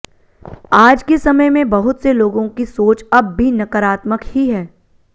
आज के समय में बहुत से लोगों की सोच अब भी नकरात्मक ही है